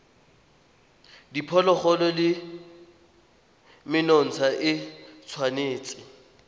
diphologolo le menontsha e tshwanetse